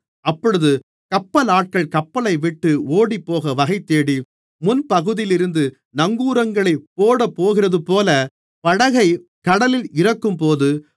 அப்பொழுது கப்பலாட்கள் கப்பலைவிட்டு ஓடிப்போக வகைதேடி முன்பகுதியிலிருந்து நங்கூரங்களைப் போடப்போகிறதுபோல படகை கடலில் இறக்கும்போது